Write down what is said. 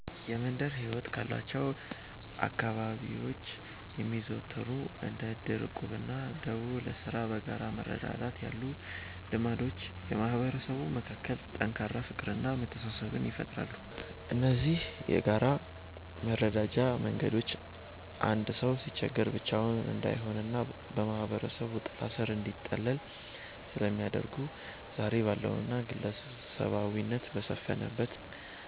የመንደር ሕይወት ካሏቸው አካባቢዎች የሚዘወተሩት እንደ ዕድር፣ ዕቁብና ደቦ (ለሥራ በጋራ መረዳዳት) ያሉ ልማዶች በማህበረሰቡ መካከል ጠንካራ ፍቅርና መተሳሰብን ይፈጥራሉ። እነዚህ የጋራ መረዳጃ መንገዶች አንድ ሰው ሲቸገር ብቻውን እንዳይሆንና በማህበረሰቡ ጥላ ሥር እንዲጠለል ስለሚያደርጉ፣ ዛሬ ባለውና ግለሰባዊነት በሰፈነበት